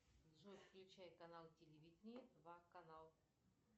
джой включай канал телевидения два канал